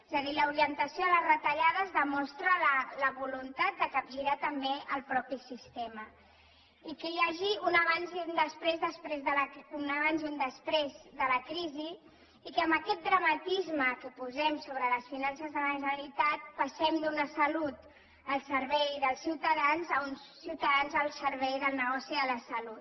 és a dir l’orientació de les retallades demostra la voluntat de capgirar també el mateix sistema i que hi hagi un abans i un després de la crisi i que amb aquest dramatisme que posem sobre les finances de la generalitat passem d’una salut al servei dels ciutadans a uns ciutadans al servei del negoci de la salut